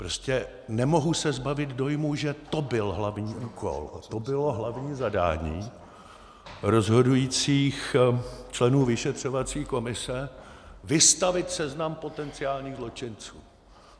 Prostě nemohu se zbavit dojmu, že to byl hlavní úkol, to bylo hlavní zadání rozhodujících členů vyšetřovací komise, vystavit seznam potenciálních zločinců.